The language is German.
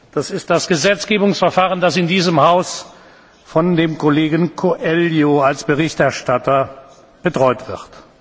Das ist das Gesetzgebungsverfahren, das in diesem Haus von dem Kollegen Coelho als Berichterstatter betreut wird.